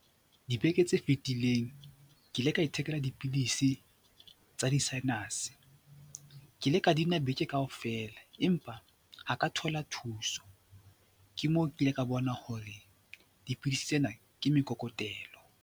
Dibeke tse fetileng ke ile ka ithekela dipidisi tsa di-sinus, ke ile ka di nwa beke kaofela empa ha ka thola thuso, ke moo kile ka bona hore dipidisi tsena ke mekokotelo.